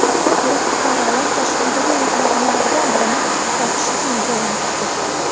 Bir guruh fuqarolar Toshkentdagi mehmonxonalardan birini fohishaxonaga aylantirgan.